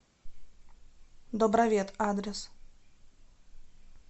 добровет адрес